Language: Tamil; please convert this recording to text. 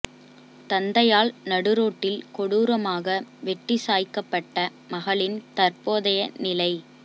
தந்தையால் நடுரோட்டில் கொடூரமாக வெட்டி சாய்க்கப்பட்ட மகளின் தற்போதய நிலை